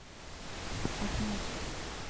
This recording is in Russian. а знаешь